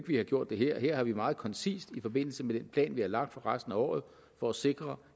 vi har gjort det her her har vi meget koncist i forbindelse med den plan vi har lagt for resten af året for at sikre